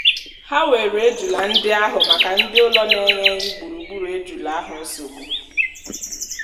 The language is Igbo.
há wèrè ejula ndị áhù màkà ndi ụlọ n'enyeghị gburugburu ejulà áhù nsogbụ